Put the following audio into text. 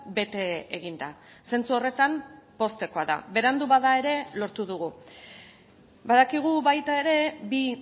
bete egin da zentzu horretan poztekoa da berandu bada ere lortu dugu badakigu baita ere bi